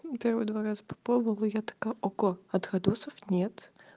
первые два раза попробовала я такая ого отходосов нет